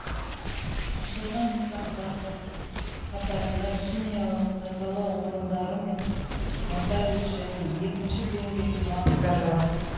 ашылған нысандардың қатарында химиялық тазалау орындары мен нотариус және екінші деңгейлі банктер бар